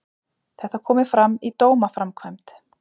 Þetta komi fram í dómaframkvæmd